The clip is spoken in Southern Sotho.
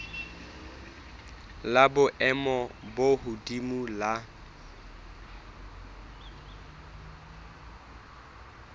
la boemo bo hodimo la